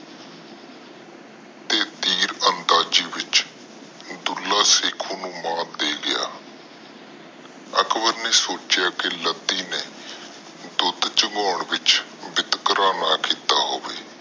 ਤੀਰਅੰਦਾਜ਼ੀ ਵਿਚ ਦੁੱਲਾ ਸੇਖੁ ਨੂੰ ਮਾਤ ਦੇ ਗਿਆ। ਅਕਬਰ ਨੇ ਸੋਚਿਆ ਕਿ ਲੱਦੀ ਨੇ ਦੁੱਧ ਚੁੰਗਾਂ ਚ ਬਿਤਕਰਾ ਨਾ ਕੀਤਾ ਹੋਵੇ।